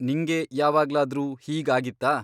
ನಿಂಗೆ ಯಾವಾಗ್ಲಾದ್ರೂ ಹೀಗ್ ಆಗಿತ್ತಾ?